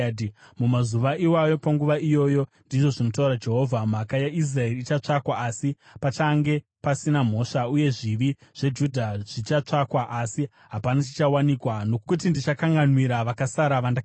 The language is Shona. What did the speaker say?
Mumazuva iwayo, panguva iyoyo,” ndizvo zvinotaura Jehovha, “mhaka yaIsraeri ichatsvakwa, asi pachange pasina mhosva, uye zvivi zveJudha zvichatsvakwa, asi hapana chichawanikwa, nokuti ndichakanganwira vakasara vandakasiya.